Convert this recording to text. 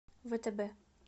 втб